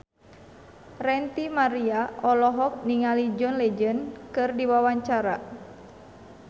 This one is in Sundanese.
Ranty Maria olohok ningali John Legend keur diwawancara